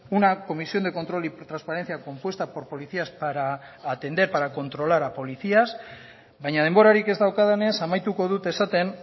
una comisión de control y transparencia compuesta por policías para atender para controlar a policías baina denborarik ez daukadanez amaituko dut esaten